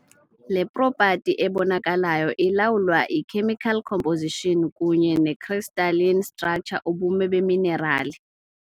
Le propati ebonakalayo ilawulwa yi-chemical composition kunye ne-crystalline structure ubume beminerali.